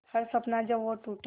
हर सपना जब वो टूटा